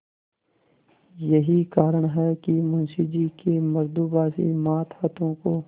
यही कारण है कि मुंशी जी के मृदुभाषी मातहतों को